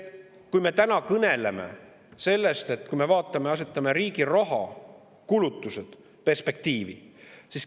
Me täna kõneleme sellest, et asetame riigi kulutused perspektiivi.